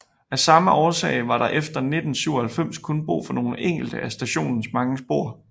Af samme årsag var der efter 1997 kun brug for nogle enkelte af stationens mange spor